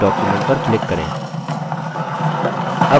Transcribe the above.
अब हम writer window में हैं